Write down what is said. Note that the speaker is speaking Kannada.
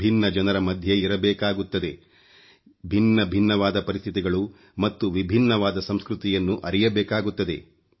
ವಿಭಿನ್ನ ಜನರ ಮಧ್ಯೆ ಇರಬೇಕಾಗುತ್ತದೆ